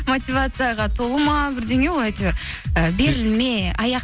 мотивацияға толы ма бірдеңе ғой әйтеуір і берілме